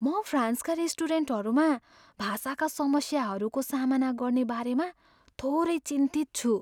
म फ्रान्सका रेस्टुरेन्टहरूमा भाषाका समस्याहरूको सामना गर्ने बारेमा थोरै चिन्तित छु।